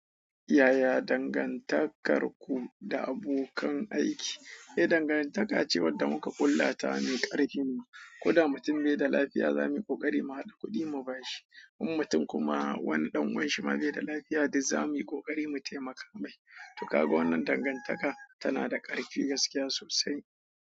Yaya dangantakarku da abokan aiki? Eh, dangantaka ce wadda muka ƙullata me ƙarfi. Koda mutum bai da lafiya, za muyi ƙoƙari mu haɗa kuɗi mu bashi. In mutum kuma wani dan uwanshi baida lafiya duk zamuyi kokari mu taimaka mai to kaga wannan dangantaka tana da ƙarfi gaskiya sosai.